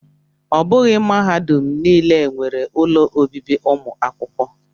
Ọ bụghị mahadum niile nwere ụlọ obibi ụmụ akwụkwọ